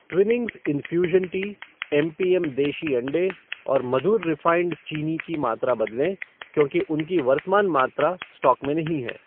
Twinings infusion tea, M P M देशी अंडे और मधुर रिफ़ाइंड चीनी की मात्रा बदलें क्योंकि उनकी वर्तमान मात्रा स्टॉक में नहीं है।